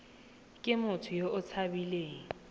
ke motho yo o tshabileng